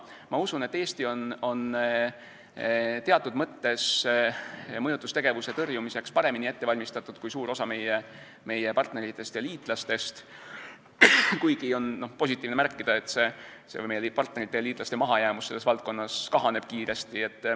Ma usun, et Eesti on mõjutustegevuse tõrjumiseks teatud mõttes paremini ette valmistatud kui suur osa meie partneritest ja liitlastest, kuigi on positiivne märkida, et meie partnerite ja liitlaste mahajäämus selles valdkonnas kahaneb kiiresti.